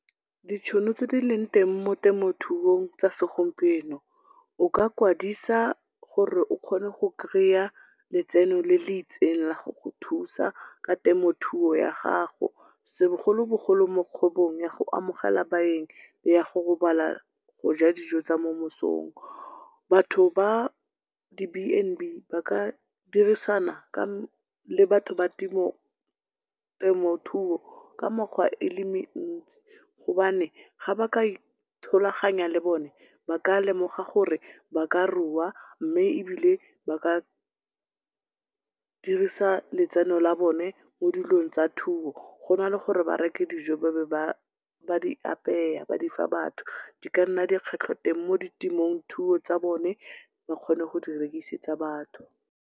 Ditšhono tse dileng teng mo temothuong tsa segompieno, o ka kwadisa gore o kgone go kry-a letseno le leitsengla go go thusa ka temothuoya gago. Segolobogolo mo kgwebong ya go amogela baeng, ya go robala goja dijo tsa momesong. Batho ba di Bnb ba ka dirisana le batho ba temothuo ka mekgwa ele mintsi, gobane ga ba ka ithololaganya le bone ba ka lemoga gore ba ka rua mme ebile ba ka dirisa letseno la bone mo dilong tsa thuo, go na le gore ba reke dijo ba be ba di apeya, ba difa batho, di ka nna di a kgetlhwa teng mo ditemothung tsa bone bakgone go direkisetsa batho.